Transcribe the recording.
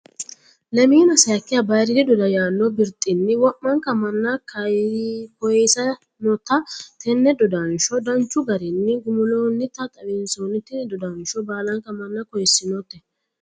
Lemina sayikiha bayiiriidi doda yaano birixini wo'manka mana koyisanotta tene dodansho danchu garinni gumu'loonitta xawinsonni tini dodanshono baalanka mana koyisinotte